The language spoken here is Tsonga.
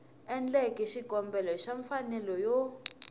endleke xikombelo xa mfanelo yo